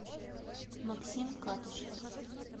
максим катышев